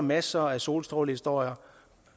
masser af solstrålehistorier